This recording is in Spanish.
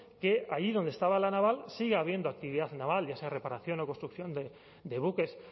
que allí donde estaba la naval siga habiendo actividad naval ya sea reparación o construcción de buques